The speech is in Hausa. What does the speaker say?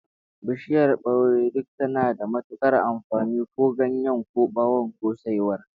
Bishiyar baure duk tana da matukar amfani, ko ganyen, ko bawon, ko saiwar.